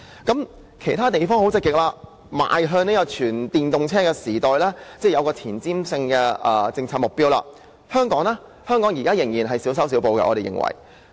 當其他地方積極邁向全電動車時代，擁有前瞻性政策目標時，香港卻仍然在小修小補。